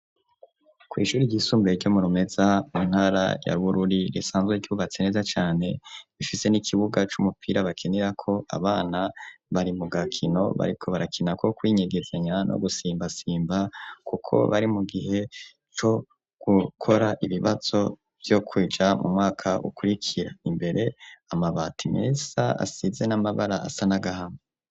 Ku ishuri ry'isumbuye ryo mu Rumeza mu ntara ya Bururi risanzwe ryubatse neza cane rifise n'ikibuga c'umupira bakinirako abana bari mu gakino bariko barakina ko kwinyegezanya no gusimba simba kuko bari mu gihe co gukora ibibazo vyo kuja mu mwaka ukurikira imbere amabati meza asize n'amabara asa n'agahama.